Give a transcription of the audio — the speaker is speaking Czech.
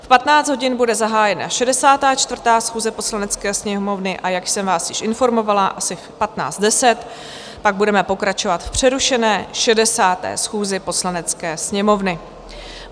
V 15 hodin bude zahájena 64. schůze Poslanecké sněmovny, a jak jsem vás již informovala, asi v 15.10 pak budeme pokračovat v přerušené 60. schůzi Poslanecké sněmovny.